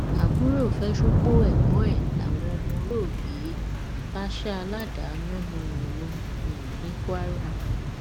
àbúrò fẹ́ ṣúpó ẹ̀gbọ́n ẹ̀ làwọn ọmọ olóògbé um bá sá a ládàá yánnayànna um ní kwara